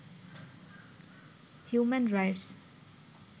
human rights